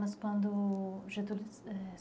Mas quando... Getúlio, é